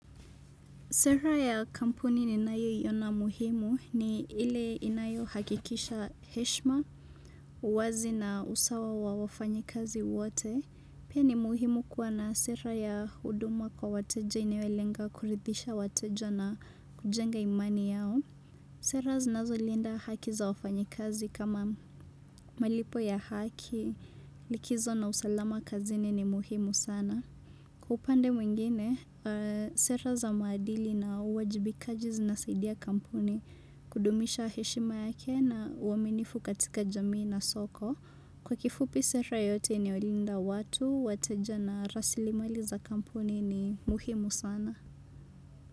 Sera ya kampuni ninayoiona muhimu ni ile inayohakikisha heshma, uwazi na usawa wa wafanyikazi wote. Pia ni muhimu kuwa na sera ya huduma kwa wateja iniwelenga kuridhisha wateja na kujenga imani yao. Sera zinazolinda haki za wafanyikazi kama malipo ya haki likizo na usalama kazini ni muhimu sana. Kwa upande mwingine, sera za maadili na uwajibikaji zinasaidia kampuni kudumisha heshima yake na uaminifu katika jamii na soko. Kwa kifupi sera yote inayolinda watu, wateja na rasilimali za kampuni ni muhimu sana.